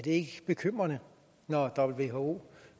ikke bekymrende når who